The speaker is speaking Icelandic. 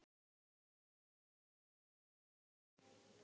þinn frið og dýrð að sjá.